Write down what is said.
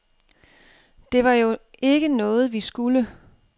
Det var jo ikke noget, vi skulle.